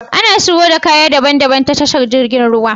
Ana shigo da kaya daban daban ta tashar jirgin ruwa